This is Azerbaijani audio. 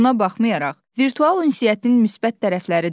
Buna baxmayaraq, virtual ünsiyyətin müsbət tərəfləri də var.